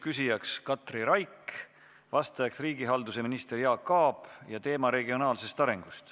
Küsija on Katri Raik, vastaja riigihalduse minister Jaak Aab, teemaks on regionaalne areng.